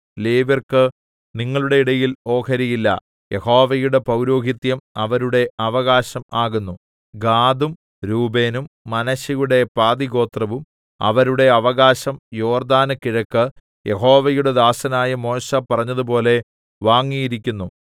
ലേവ്യർക്ക് നിങ്ങളുടെ ഇടയിൽ ഓഹരി ഇല്ല യഹോവയുടെ പൗരോഹിത്യം അവരുടെ അവകാശം ആകുന്നു ഗാദും രൂബേനും മനശ്ശെയുടെ പാതിഗോത്രവും അവരുടെ അവകാശം യോർദ്ദാന് കിഴക്ക് യഹോവയുടെ ദാസനായ മോശെ പറഞ്ഞതുപോലെ വാങ്ങിയിരിക്കുന്നു